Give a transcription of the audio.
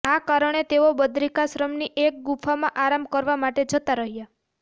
આ કારણે તેઓ બદ્રિકાશ્રમની એક ગુફામાં આરામ કરવા માટે જતાં રહ્યાં